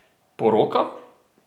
Poroka?